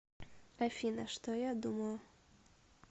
афина что я думаю